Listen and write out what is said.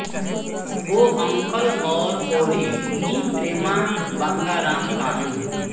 वो अंकल और ओरी नी प्रेमा बंगाराम कानु